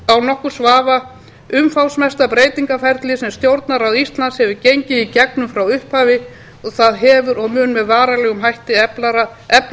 án nokkurs vafa umfangsmesta breytingaferlið sem stjórnarráð íslands hefur gengið í gegnum frá upphafi og það hefur og mun með varanlegum hætti efla stjórnarráðið